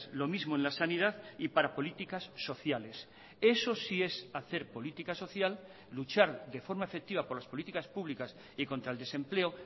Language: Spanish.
lo mismo en la sanidad y para políticas sociales eso sí es hacer política social luchar de forma efectiva por las políticas públicas y contra el desempleo